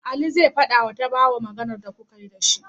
Ali zai fadawa tabawa Maganar da kukayi da shi